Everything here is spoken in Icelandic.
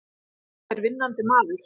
Þetta er vinnandi maður!